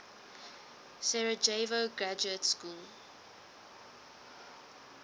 sarajevo graduate school